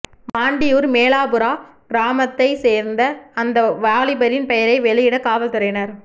மாண்டியூர் மேலாபுறா கிராமத்தைச் சேர்ந்த அந்த வாலிபரின் பெயரை வெளியிட காவல்துறையினர்